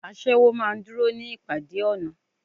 Aṣẹ́wó maá ń dúró ní ìpàdé ọ̀nà